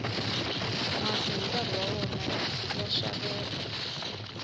masi hi nkarhi wa wona ya xakeva